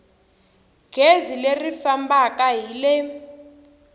gezi leri fambaka hi le